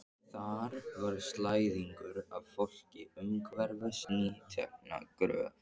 Þar var slæðingur af fólki umhverfis nýtekna gröf.